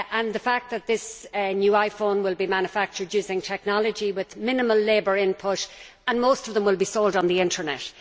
The fact is that these new iPhones will be manufactured using technology with minimum labour input, and most of them will be sold on the internet.